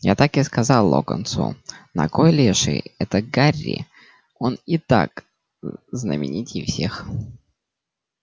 я так и сказал локонсу на кой леший это гарри он и так знаменитей всех